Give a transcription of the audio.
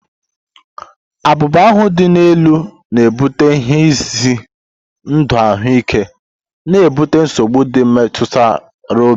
Abuba ahu dị elu na-ebute ihe ize ndụ ahụike, na-ebute nsogbu ndị metụtara obi.